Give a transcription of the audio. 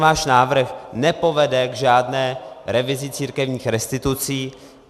Váš návrh nepovede k žádné revizi církevních restitucí.